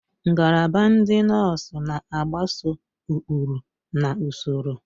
Ngalaba ndị nọọsụ na-agbaso ụkpụrụ na ụsọrọ